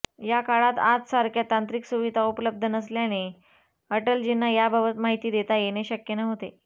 त्या काळात आजसारख्या तांत्रिक सुविधा उपलब्ध नसल्याने अटलजींना याबाबत माहिती देता येणे शक्य नव्हते